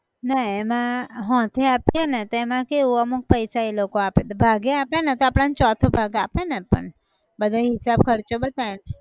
ના એમાં હોંથે આપીએ ને તો એમાં કેવું અમુક પૈસા એ લોકો આપે ભાગે આપે ને તો આપણન ચોથો ભાગ આપેને પણ બધા હિસાબ ખર્ચો બતાયીન